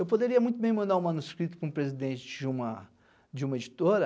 Eu poderia muito bem mandar o manuscrito para o presidente de uma de uma editora,